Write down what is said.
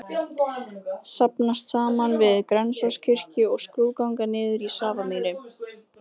Safnast saman við Grensáskirkju og skrúðganga niður í Safamýri.